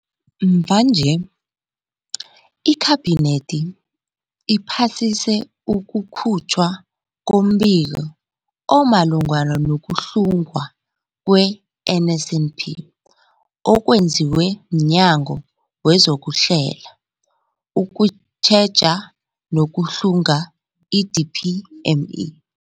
Mvanje, iKhabinethi iphasise ukukhutjhwa kombiko omalungana nokuhlungwa kwe-NSNP okwenziwe mNyango wezokuHlela, ukuTjheja nokuHlunga, i-DPME.